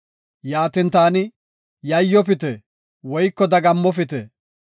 Yaatin taani, “Yayyofite woyko dagammofite.